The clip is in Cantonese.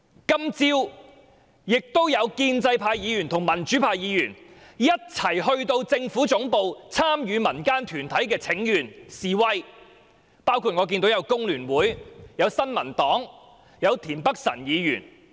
今天早上亦有建制派和民主派議員一同前往政府總部參與民間團體的請願和示威，包括香港工會聯合會、新民黨和田北辰議員。